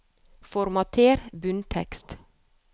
Formater bunntekst